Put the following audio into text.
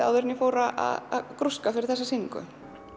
áður en ég fór að grúska fyrir þessa sýningu